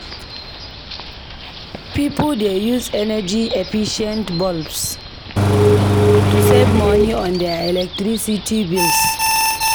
Pipo dey use energy-efficient bulbs to save money on their electricity bills.